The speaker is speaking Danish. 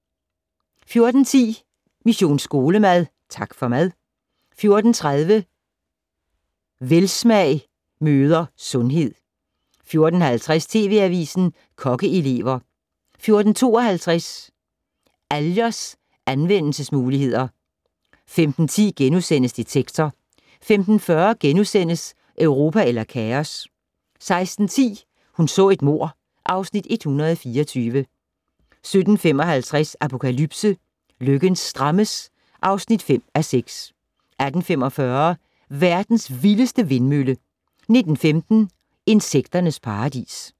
14:10: Mission Skolemad: Tak for mad 14:30: Velsmag møder sundhed 14:50: TV Avisen - Kokkeelever 14:52: Algers anvendelsesmuligheder 15:10: Detektor * 15:40: Europa eller kaos? * 16:10: Hun så et mord (Afs. 124) 17:55: Apokalypse - løkken strammes (5:6) 18:45: Verdens vildeste vindmølle 19:15: Insekternes paradis